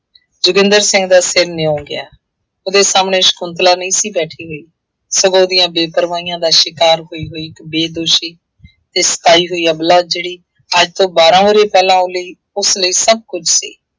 ਜੋਗਿੰਦਰ ਸਿੰਘ ਦਾ ਸਿਰ ਨਿਉਂ ਗਿਆ। ਉਹਦੇ ਸਾਹਮਣੇ ਸ਼ੰਕੁਤਲਾ ਨਹੀਂ ਸੀ ਬੈਠੀ ਹੋਈ। ਸਗੋਂ ਉਹਦੀਆਂ ਬੇਪਰਵਾਹੀਆਂ ਦਾ ਸ਼ਿਕਾਰ ਹੋਈ ਹੋਈ ਇੱਕ ਬੇਦੋਸ਼ੀ ਅਤੇ ਸਤਾਈ ਹੋਈ ਅਬਲਾ ਜਿਹੜੀ ਅੱਜ ਤੋਂ ਬਾਰ੍ਹਾਂ ਵਰ੍ਹੇ ਪਹਿਲਾਂ ਉਹ ਲਈ, ਉਸ ਲਈ ਸਭ ਕੁੱਝ ਸੀ।